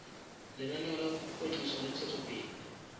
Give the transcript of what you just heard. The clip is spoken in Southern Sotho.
lenaneo la kwetliso le ntshetsopele